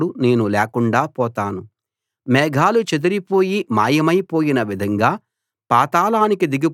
మేఘాలు చెదిరిపోయి మాయమైపోయిన విధంగా పాతాళానికి దిగిపోయిన వాడు మళ్లీ పైకి రాడు